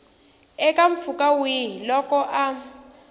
eka mpfhuka wihi loko a